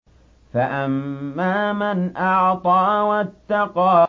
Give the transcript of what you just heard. فَأَمَّا مَنْ أَعْطَىٰ وَاتَّقَىٰ